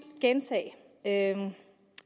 gentage at